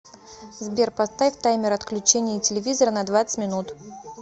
сбер поставь таймер отключения телевизора на двадцать минут